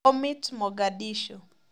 Bomit Mogadishu